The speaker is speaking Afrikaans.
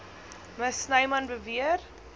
me snyman beweer